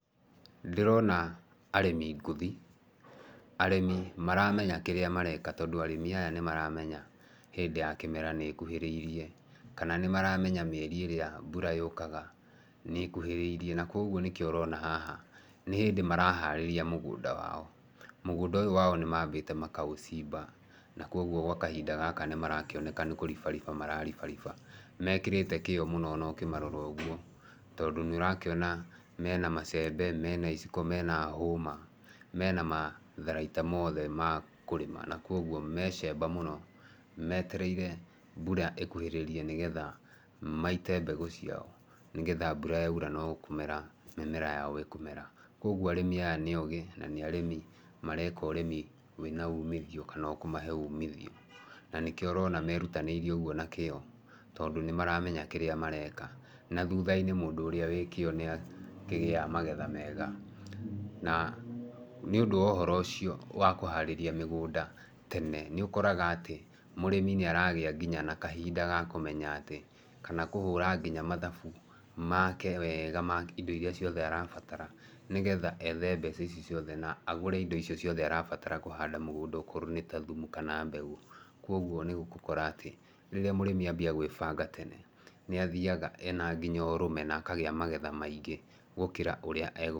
Ndĩrona arĩmi ngũthi. Arĩmi maramenya kĩrĩa mareka tondũ arĩmi aya nĩ maramenya hĩndĩ ya kĩmera nĩ ĩkuhĩrĩirie, kana nĩ maramenya mĩeri ĩrĩa mbura yũkaga nĩ ĩkuhĩrĩirie na koguo nĩkĩo ũrona haha nĩ hĩndĩ maraharĩria mũgũnda wao. Mũgũnda ũyũ wao nĩ mambĩte makaũcimba na kwoguo gwa kahinda gaka nĩ marakĩoneka nĩ kũribariba mararibariba. Nĩ mekĩrĩte kĩo mũno o na ũkĩmarora ũguo tondũ nĩ ũrakĩona mena macembe, mena iciko, mena hũma, mena matharaita mothe ma kũrĩma na kwoguo me cemba mũno, metereire mbura ĩkuhĩrĩrie nĩ getha maite mbegũ ciao nĩ getha mbura yaura no kũmera mĩmera yao ĩkũmera. Koguo arĩmi aya nĩ ogĩ na nĩ arĩmi mareka ũrĩmi wĩna umithio kana ũkamahe umithio mena ũgĩ kũmahe umithio, na nĩkĩo ũrona merutanĩirie ũguo na kĩo tondũ maramenya ũrĩa mareka na thutha -inĩ mũndũ ũrĩa wĩ kĩo nĩ akĩgĩaga magetha mega. Na nĩ ũndũ wa ũhoro ũcio wa kũharĩria mĩgũnda tene, nĩ ũkoraga atĩ mũrĩmi nĩ aragĩa nginya na kahinda ga kũmenya atĩ, kana kũhũra nginya mathabu make wega ma indo iria arabatara nĩ getha ethe mbeca ici ciothe na agũre indo icio ciothe arabatara kũhanda mũgũnda okorwo nĩ ta thumu kana mbegũ, koguo nĩ ũgũkora atĩ rĩrĩa mũrĩmi anjia gwĩbanga tene, nĩ athaiga ena nginya ũrũme na akagĩa magetha maingĩ gũkĩra ũrĩa egũtanyĩte.